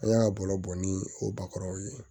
An y'a ka baro bɔ ni o bakɔrɔnw ye